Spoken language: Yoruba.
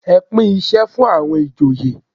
Ẹ pín isẹ fún àwọn ìjòyè.